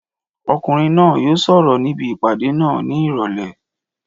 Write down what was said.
Ọkùnrin náà yóò sọ̀rọ̀ níbi ìpàdé náà ní ìrọ̀lẹ́